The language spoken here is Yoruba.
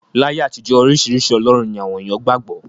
Láyé àtijọ́, oríṣiríṣi ọlọ́run ni àwọn èèyàn qgbà gbọ́.